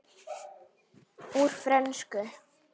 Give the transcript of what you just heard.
Úr frönsku